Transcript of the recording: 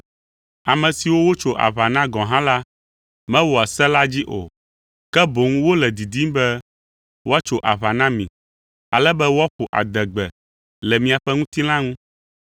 Ame siwo wotso aʋa na gɔ̃ hã la mewɔa se la dzi o, ke boŋ wole didim be woatso aʋa na mi, ale be woaƒo adegbe le miaƒe ŋutilã ŋu.